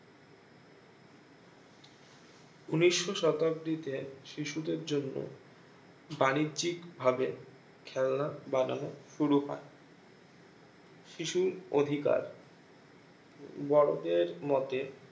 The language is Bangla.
উনিশো শতাব্দীতে শিশুদের জন্য বাণিজ্যিক ভাবে খেলনা বানানো শুরু হয় শিশুর অধিকার বড়োদের মতে